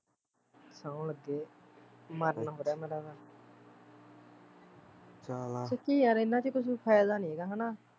ਸੋਂਹ ਲੱਗੇ ਮਰਨ ਹੋ ਰਿਹਾ ਮੇਰਾ ਤਾਂ ਸੱਚੀ ਯਾਰ ਇਹਨਾਂ ਚ ਕੁਛ ਫ਼ੈਦਾ ਨੀ ਹੈਗਾ ਹੈਨਾ